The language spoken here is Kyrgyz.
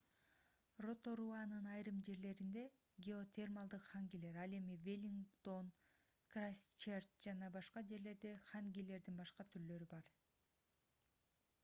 роторуанын айрым жерлеринде геотермалдык хангилер ал эми веллингтон крайстчерч жана башка жерлерде хангилердин башка түрлөрү бар